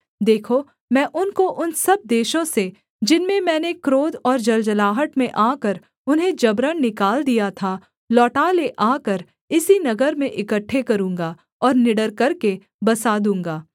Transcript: देखो मैं उनको उन सब देशों से जिनमें मैंने क्रोध और जलजलाहट में आकर उन्हें जबरन निकाल दिया था लौटा ले आकर इसी नगर में इकट्ठे करूँगा और निडर करके बसा दूँगा